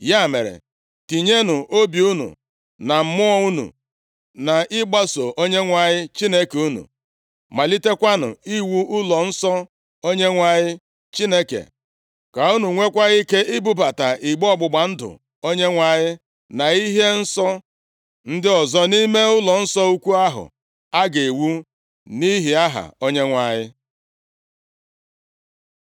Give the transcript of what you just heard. Ya mere, tinyenụ obi unu na mmụọ unu nʼịgbaso Onyenwe anyị Chineke unu. Malitekwanụ iwu ụlọnsọ Onyenwe anyị Chineke, ka unu nweekwa ike ibubata igbe ọgbụgba ndụ Onyenwe anyị, na ihe nsọ ndị ọzọ nʼime ụlọnsọ ukwu ahụ a ga-ewu nʼihi Aha Onyenwe anyị.”